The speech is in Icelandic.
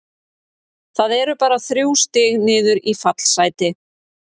Það eru bara þrjú stig niður í fallsæti.